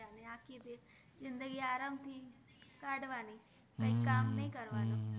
જિન્દગિ આરામ થિ કાદવા ણી કૈ કામ નૈ કર્વાનુ